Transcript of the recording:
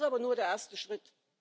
Das ist aber nur der erste Schritt.